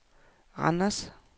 Randers